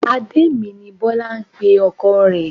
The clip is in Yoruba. Adé mi ni Bọ́lá ń pe ọkọ rẹ̀